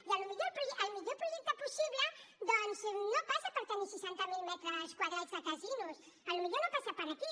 i el millor projecte possible doncs no passa per tenir seixanta mil metres quadrats de casinos potser no passa per aquí